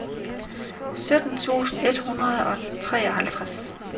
sytten tusind et hundrede og treoghalvtreds